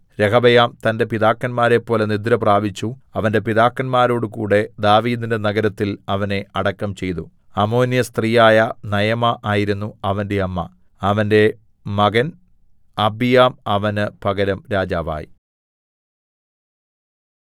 രെഹബെയാം തന്റെ പിതാക്കന്മാരെപ്പോലെ നിദ്രപ്രാപിച്ചു അവന്റെ പിതാക്കന്മാരോടുകൂടെ ദാവീദിന്റെ നഗരത്തിൽ അവനെ അടക്കം ചെയ്തു അമ്മോന്യസ്ത്രീയായ നയമാ ആയിരുന്നു അവന്റെ അമ്മ അവന്റെ മകൻ അബീയാം അവന് പകരം രാജാവായി